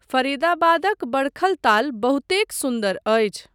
फरीदाबादक बडखल ताल बहुतेक सुन्दर अछि।